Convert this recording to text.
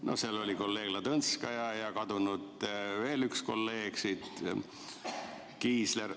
No seal oli ka kolleeg Ladõnskaja ja veel üks kolleeg, kes on siit juba läinud, Kiisler.